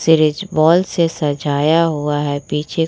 series ball से सजाया हुआ है पीछे --